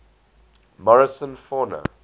morrison fauna